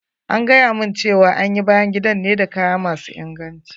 An gayamun cewa an yi bayan gidan ne da kaya masu inganci.